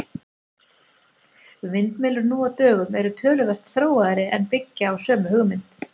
Vindmyllur nú á dögum eru töluvert þróaðri en byggja á sömu hugmynd.